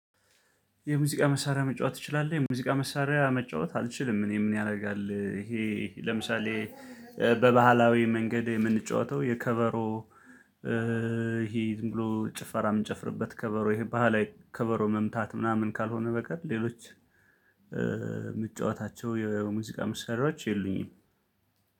የሙዚቃ መሳሪያ መጫወት ትችላለህ? የሙዚቃ መሳሪያ መጫወት አልችልም እኔ ምን ያደርጋል ይሄ ለምሳሌ በባህላዊ መንገድ የምንጫወተው የከበሮ ይሄ ዝም ብሎ ጭፈራ የምንጨፍርበት ከበሮ ይሄ ባህላዊ ከበሮ መምታት ምናምን ካልሆነ በቀር ሌሎች የምጫዋታቸው የሙዚቃ ምሳሌዎች የሉኝም